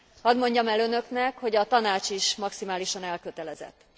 Hadd mondjam el Önöknek, hogy a Tanács is maximálisan elkötelezett.